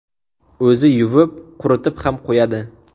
O‘zi yuvib, quritib ham qo‘yadi.